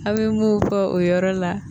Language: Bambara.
A bɛ mun fɔ o yɔrɔ la